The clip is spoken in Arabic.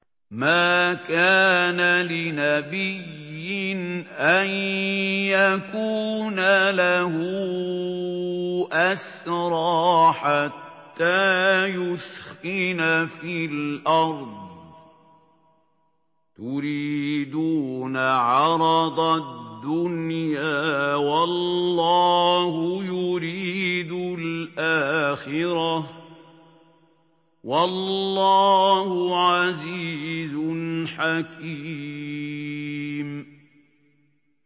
مَا كَانَ لِنَبِيٍّ أَن يَكُونَ لَهُ أَسْرَىٰ حَتَّىٰ يُثْخِنَ فِي الْأَرْضِ ۚ تُرِيدُونَ عَرَضَ الدُّنْيَا وَاللَّهُ يُرِيدُ الْآخِرَةَ ۗ وَاللَّهُ عَزِيزٌ حَكِيمٌ